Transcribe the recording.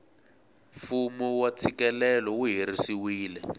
fumu wa tshikelelo wu herisiwile